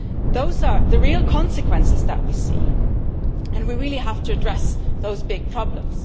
Those are the real consequences that we see and we really have to address those big problems.